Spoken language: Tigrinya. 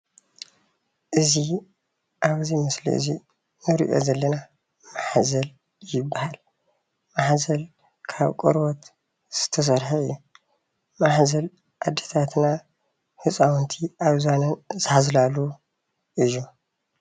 እዚ ኣብዚ ምስሊ እዚ ንሪኦ ዘለና ማሕዘል ይበሃል ማሕዘል ካብ ቆርበት ዝተሰርሕ እዩ ማሕዘል ኣዴታትና ህፃዉንቲ ኣብ ዝባነን ዝሓዝላሉ እዩ።